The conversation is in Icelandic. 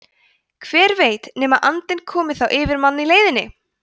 hver veit nema andinn komi þá yfir mann í leiðinni!